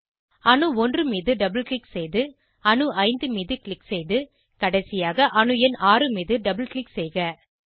அணு 1 மீது double click செய்து அணு 5 மீது க்ளிக் செய்து கடைசியாக அணு எண் 6 மீது டபுள் க்ளிக் செய்க